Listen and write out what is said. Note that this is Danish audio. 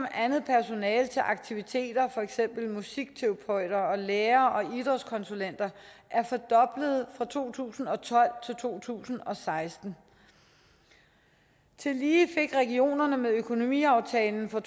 af andet personale til aktiviteter for eksempel musikterapeuter og lærere og idrætskonsulenter er fordoblet fra to tusind og tolv til to tusind og seksten tillige fik regionerne med økonomiaftalen for